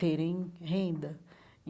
terem renda.